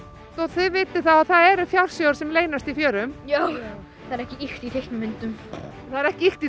þið vitið þá að það eru fjársjóðir sem leynast í fjörum já það er ekki ýkt í teiknimyndum það er ekki ýkt í